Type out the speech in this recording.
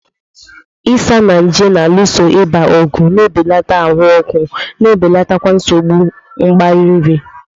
Isanaje na-alụso ịba ọgụ, na-ebelata ahụ ọkụ, na-ebelatakwa nsogbu mgbari nri.